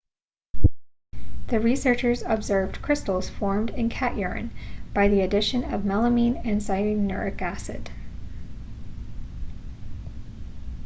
the researchers observed crystals formed in cat urine by the addition of melamine and cyanuric acid